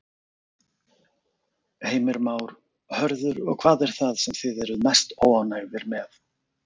Heimir Már: Hörður, hvað er það sem þið eruð mest óánægðir með?